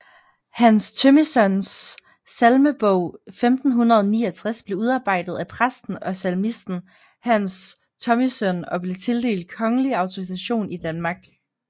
Hans Thomissøns Salmebog 1569 blev udarbejdet af præsten og salmisten Hans Thomissøn og blev tildelt kongelig autorisation i Danmark